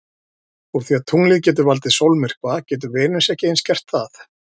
Úr því að tunglið getur valdið sólmyrkva getur Venus ekki eins gert það?